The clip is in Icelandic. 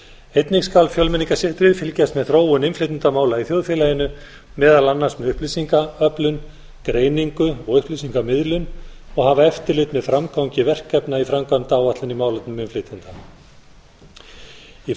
einnig skal fjölmenningarsetrið fylgjast með þróun innflytjendamála í þjóðfélaginu meðal annars með upplýsingaöflun greiningu og upplýsingamiðlun og hafa eftirlit með framgangi verkefna í framkvæmdaáætlun í málefnum innflytjenda í